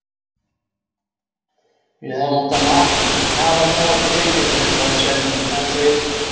Við hefðum átt að hafa með okkur veiðistöng, sagði Svenni, en þeir